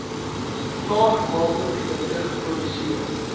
klaargemaakte produkte geproduseer